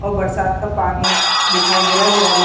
और बरसात का पानी दिखाई दे रहा है दीवालो --